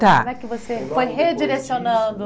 Tá. Como é que você foi redirecionando?